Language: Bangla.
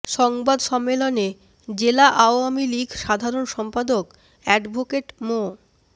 সংবাদ সম্মেলনে জেলা আওয়ামী লীগ সাধারণ সম্পাদক অ্যাডভোকেট মো